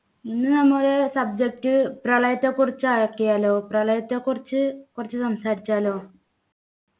ഇന്ന് നമ്മള് subject പ്രളയത്തെ കുറിച്ചാക്കിയാലോ പ്രളയത്തെക്കുറിച്ചു സംസാരിച്ചാലോ